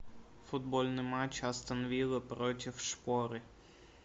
футбольный матч астон вилла против шпоры